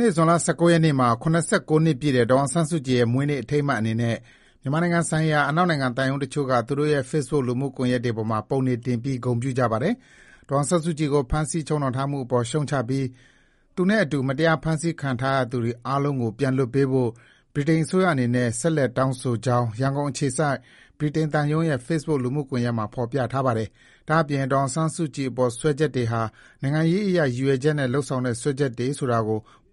နေ့ ဇွန်လ ၁၉ ရက်နေ့မှာ ၇၉ နှစ်ပြည့်တဲ့ ဒေါ်အောင်ဆန်းစုကြည်ရဲ့ မွေးနေ့ အထိမ်းအမှတ်အနေနဲ့ မြန်မာနိုင်ငံဆိုင်ရာ အနောက်နိုင်ငံသံရုံးတချို့က သူတို့ရဲ့ Facebook လူမှုကွန်ရက်တွေပေါ်မှာ ပုံတွေတင်ပြီး ဂုဏ်ပြုကြပါတယ်။ ဒေါ်အောင်ဆန်းစုကြည်ကို ဖမ်းဆီးချုပ်နှောင်ထားမှုအပေါ် ရှုတ်ချပြီး၊ သူနဲ့အတူ မတရားဖမ်းဆီးခံထားရသူတွေအားလုံးကို ပြန်လွှတ်ပေးဖို့ ဗြိတိန်အစိုးရအနေနဲ့ ဆက်လက်တောင်းဆိုကြောင်း ရန်ကုန်အခြေစိုက် ဗြိတိန်သံရုံးရဲ့ Facebook လူမှုကွန်ယက်မှာ ဖေါ်ပြထားပါတယ်။ ဒါ့အပြင် ဒေါ်အောင်ဆန်းစုကြည်အပေါ် စွပ်စွဲချက်တွေဟာ နိုင်ငံရေးအရ ရည်ရွယ်ချက်နဲ့ လုပ်ဆောင်တဲ့ စွပ်စွဲချက်တွေဆိုတာ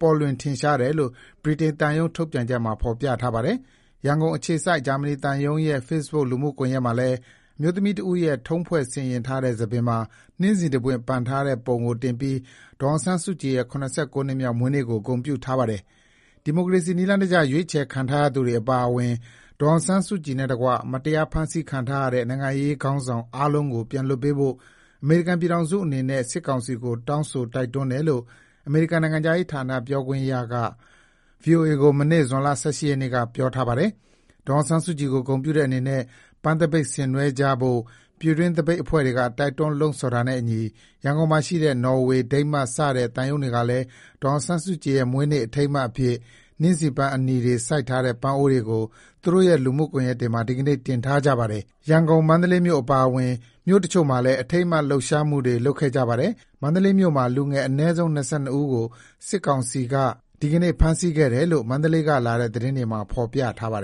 ပေါ်လွင်ထင်ရှားတယ်လို့ ဗြိတိန်သံရုံးထုတ်ပြန်ချက်မှာ ဖေါ်ပြထားပါတယ်။ ရန်ကုန်အခြေစိုက် ဂျာမနီသံရုံး ရဲ့ Facebook လူမှုကွန်ယက်မှာလည်း အမျိုးသမီးတဦးရဲ့ ထုံးဖွဲ့ဆင်ယဥ်ထားတဲ့ ဆံပင်မှာ နှင်းဆီတပွင့် ပန်ဆင်ထားတဲ့ ပုံကိုတင်ပြီး ဒေါ်အောင်ဆန်းစုကြည်ရဲ့ (၇၉)နှစ်မြောက် မွေးနေ့ကို ဂုဏ်ပြုထားပါတယ်။ ဒီမိုကရေစီနည်းကျ ရွေးချယ်ခံထားရသူတွေအပါအဝင် ဒေါ်အောင်ဆန်းစုကြည်နဲ့တကွ မတရား ဖမ်းဆီးခံထားရတဲ့ နိုင်ငံရေးခေါင်းဆောင်အားလုံးကို ပြန်လွှတ်ပေးဖို့ အမေရိကန်ပြည်ထောင်စုအနေနဲ့ စစ်ကောင်စီကို တောင်းဆိုတိုက်တွန်းတယ်လို့ အမေရိကန်နိုင်ငံခြားရေးဌာန ပြောခွင့်ရသူက VOA ကို မနေ့ ဇွန်လ ၁၈ ရက်နေ့က ပြောပါတယ်။ ဒေါ်အောင်ဆန်းစုကြည်ကို ဂုဏ်ပြုတဲ့အနေနဲ့ ပန်းသပိတ်ဆင်နွှဲကြဖို့ ပြည်တွင်းသပိတ်အဖွဲ့တွေက တိုက်တွန်း လှုံ့ဆော်ထားတာနဲ့အညီ ရန်ကုန်မှာရှိတဲ့ နော်ဝေ၊ ဒိန်းမတ် စတဲ့ သံရုံးတွေကလည်း ဒေါ်အောင်ဆန်းစုကြည်ရဲ့ မွေးနေ့အထိမ်းအမှတ်အဖြစ် နှင်းဆီပန်းအနီတွေစိုက်ထားတဲ့ ပန်းအိုးတွေကို သူတို့ရဲ့ လူမှုကွန်ရက်တွေမှာ ဒီကနေ့ တင်ထားကြပါတယ်။ ရန်ကုန်၊ မန္တလေးမြို့အပါအဝင် မြို့တချို့မှာလည်း အထိမ်းအမှတ် လှုပ်ရှားမှုတွေ လုပ်ခဲ့ကြပါတယ်။ မန္တလေးမြို့မှာ လူငယ် အနည်းဆုံး ၂၂ ဦးကို စစ်ကောင်စီက မန္တလေးမြို့မှာ ဒီကနေ့ ဖမ်းဆီးခဲ့တယ်လို့ မန္တလေးကလာတဲ့သတင်းတွေမှာ ပြောထားပါတယ်